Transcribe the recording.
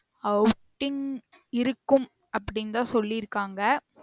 Outing இருக்கும் அப்டிந்தான் சொல்லிர்காங்க